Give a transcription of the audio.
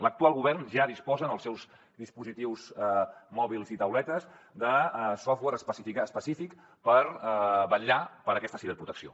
l’actual govern ja disposa en els seus dispositius mòbils i tauletes de software específic per vetllar per aquesta ciber protecció